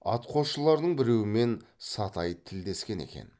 атқосшыларының біреуімен сатай тілдескен екен